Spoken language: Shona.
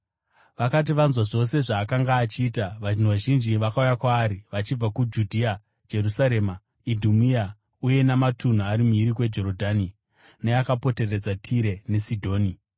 Vakati vanzwa zvose zvaakanga achiita, vanhu vazhinji vakauya kwaari vachibva kuJudhea, Jerusarema, Idhumea, uye namatunhu ari mhiri kweJorodhani, neakapoteredza Tire neSidhoni.